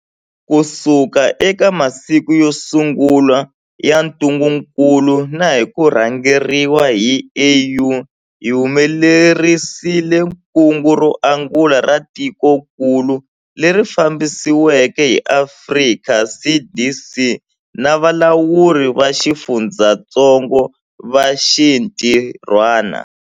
Kusuka eka masiku yo sungula ya ntungukulu na hi ku rhangeriwa hi AU, hi humelerisile kungu ro angula ra tikokulu, leri fambisiweke hi Afrika CDC na valawuri va xifundzatsongo va xintirhwana.